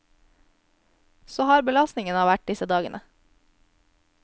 Så hard har belastningen vært disse dagene.